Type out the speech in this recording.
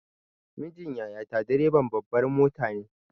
Mijin yaya ta direban babbar mota ne.